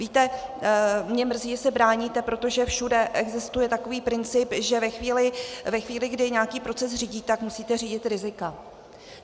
Víte, mě mrzí, že se bráníte, protože všude existuje takový princip, že ve chvíli, kdy nějaký proces řídíte, tak musíte řídit rizika.